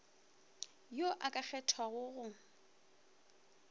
yo o ka kgethwago go